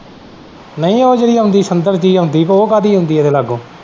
ਨਹੀਂ ਉਹ ਜਿਹੜੀ ਆਉਂਦੀ ਸੁਗੰਧ ਆਉਂਦੀ ਤੇ ਉਹ ਕਾਹਦੀ ਆਉਂਦੀ ਇਹਦੇ ਲਾਗੋਂ।